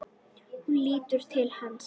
Hún lítur til hans.